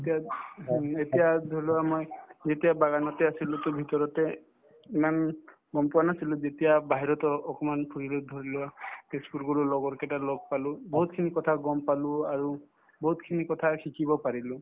এতিয়া এতিয়া ধৰিলোৱা মই যেতিয়া বাগানতে আছিলো to ভিতৰতে ইমান গম পোৱা নাছিলো যেতিয়া বাহিৰতো অকমান ঘূৰিলো ধৰিলোৱা তেজপুৰ গলো লগৰ কেইটাৰ লগ পালো বহুতখিনি কথা গম পালো আৰু বহুতখিনি কথা শিকিব পাৰিলো